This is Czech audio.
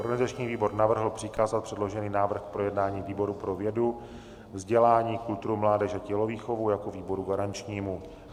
Organizační výbor navrhl přikázat předložený návrh k projednání výboru pro vědu, vzdělání, kulturu, mládež a tělovýchovu jako výboru garančnímu.